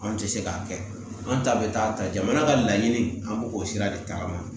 Anw tɛ se k'a kɛ an ta bɛ taa ta jamana ka laɲini an b'o o sira de tagama